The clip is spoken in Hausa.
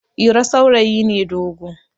iro saurayi ne dogo